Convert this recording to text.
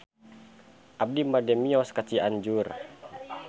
Abi bade mios ka Cianjur